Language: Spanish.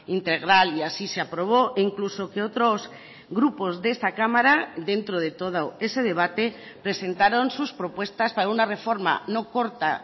integral y así se aprobó e incluso que otros grupos de esta cámara dentro de todo ese debate presentaron sus propuestas para una reforma no corta